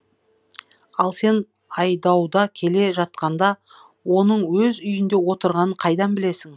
ал сен айдауда келе жатқанда оның өз үйінде отырғанын қайдан білесің